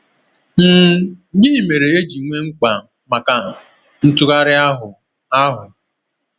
um Gịnị mere e ji nwee mkpa maka ntụgharị ahụ? ahụ?